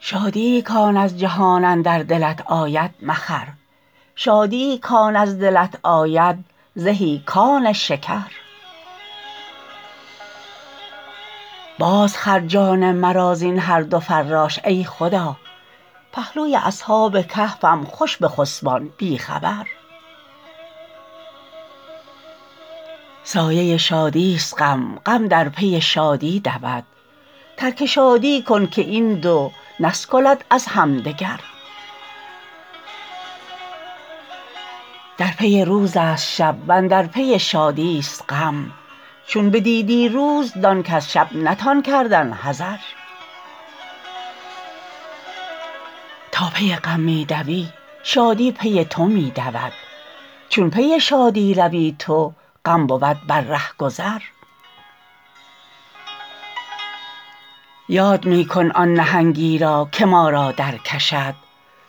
شادیی کان از جهان اندر دلت آید مخر شادیی کان از دلت آید زهی کان شکر بازخر جان مرا زین هر دو فراش ای خدا پهلوی اصحاب کهفم خوش بخسبان بی خبر سایه شادیست غم غم در پی شادی دود ترک شادی کن که این دو نسکلد از همدگر در پی روزست شب و اندر پی شادیست غم چون بدیدی روز دان کز شب نتان کردن حذر تا پی غم می دوی شادی پی تو می دود چون پی شادی روی تو غم بود بر ره گذر یاد می کن آن نهنگی را که ما را درکشد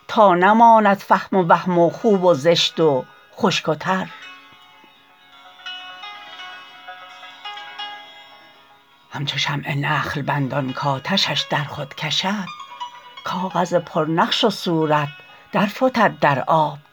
تا نماند فهم و وهم و خوب و زشت و خشک و تر همچو شمع نخل بندان کآتشش در خود کشد کاغذ پرنقش و صورت درفتد در آب در